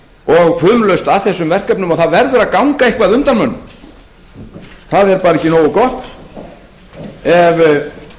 og fumlaust að þessum verkefnum og það verður að ganga eitthvað undan mönnum það er bara ekki nógu gott